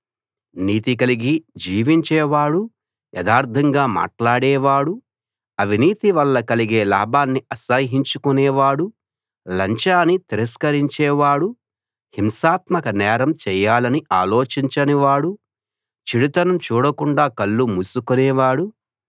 నీతి కలిగి జీవించేవాడూ యథార్ధంగా మాట్లాడేవాడూ అవినీతి వల్ల కలిగే లాభాన్ని అసహ్యించుకునే వాడూ లంచాన్ని తిరస్కరించేవాడూ హింసాత్మక నేరం చేయాలని ఆలోచించని వాడూ చెడుతనం చూడకుండా కళ్ళు మూసుకునే వాడూ